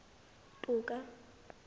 toka